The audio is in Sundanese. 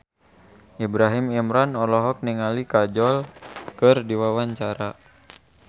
Ibrahim Imran olohok ningali Kajol keur diwawancara